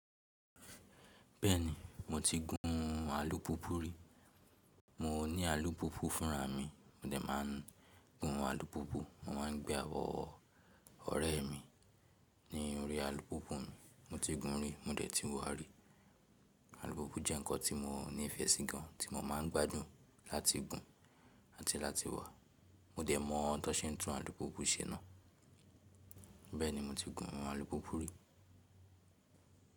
Bẹ́ẹ̀ni, mo ti gún alùpùpù rí. Mo ní alùpùpù fúnra mi. Mó dẹ̀ máa ń gún alùpùpù, mó má ń gbé àwọ̀ ọ̀rẹ́ mi ní orí alùpùpù mi. Mo ti gún ún rí, mó dẹ̀ ti wọ̀ọ́ rí. Alùpùpù jẹ́ ǹkan tí mo ní ìfẹ́ sí gan ti mó má ń gbádùn láti gún àti láti wá. Mó dẹ̀ mọ̀ ohun tó ṣe ń tún alùpùpù ṣe náà. Bẹ́ẹ̀ni, mo ti gún alùpùpù rí.